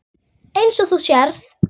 Eins og þú sérð.